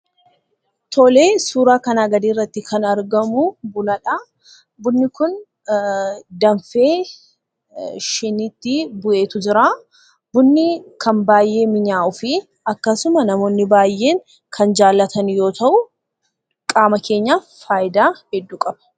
Tolee suuraa asii gadiirratti kan argamu, Bunadha. Bunni kun danfee shiniitti bu'eetu jira. Bunni kan baayyee mi'aahuufii akkasuma namoonni baayyeen jaalatan yoo ta'u, qaama keenyaaf faayidaa hedduu qaba.